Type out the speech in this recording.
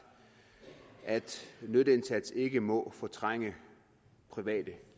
at nytteindsats ikke må fortrænge private